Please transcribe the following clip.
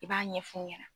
I b'a ɲɛf'u ɲɛna